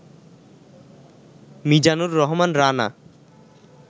Mizanur Rahman Rana